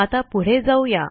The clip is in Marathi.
आता पुढे जाऊ या